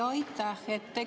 Aitäh!